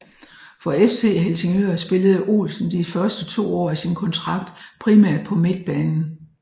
For FC Helsingør spillede Olsen de første to år af sin kontrakt primært på midtbanen